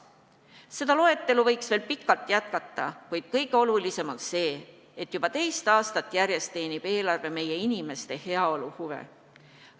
Seda loetelu võiks veel pikalt jätkata, kuid kõige olulisem on see, et juba teist aastat järjest teenib eelarve meie inimeste heaolu huve.